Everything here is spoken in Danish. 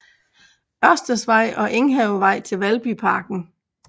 Ørsteds Vej og Enghavevej til Valbyparken